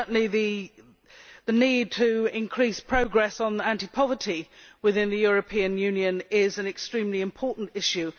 Certainly, the need to increase progress on combating poverty within the European Union is an extremely important issue.